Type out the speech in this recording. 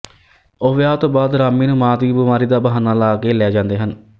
ਉਹ ਵਿਆਹ ਤੋਂ ਬਾਅਦ ਰਾਮੀ ਨੂੰ ਮਾਂ ਦੀ ਬਿਮਾਰੀ ਦਾ ਬਹਾਨਾ ਲਾਕੇ ਲੈ ਜਾਂਦੇ ਹਨ